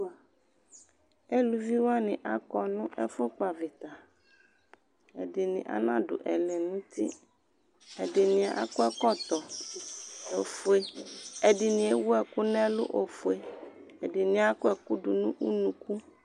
Eluvi wanɩ akɔ nʋ ɛfʋkpɔ avɩta Ɛdɩnɩ anadʋ ɛlɛnʋti, ɛdɩnɩ akɔ ɛkɔtɔ ofue, ɛdɩnɩ ewu ɛkʋ nʋ ɛlʋ ofue, ɛdɩnɩ akɔ ɛkʋ dʋ nʋ unuku